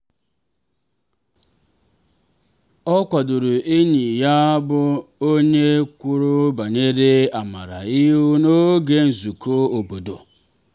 ọ kwadoro enyi ya bụ onye kwuru banyere amara ihu n'oge nzukọ obodo.